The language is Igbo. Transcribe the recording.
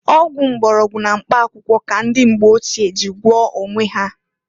Ọgwụ mgbọrọgwụ na mkpa akwụkwọ ka ndị mgbe ochie ji gwoọọ onwe ha.